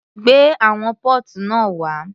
Gbé àwọn póòtù náà wá.